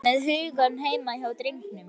Vera með hugann heima hjá drengnum.